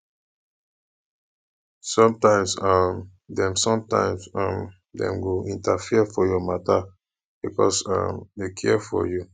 sometimes um dem sometimes um dem go interfere for your matter because um dem care for you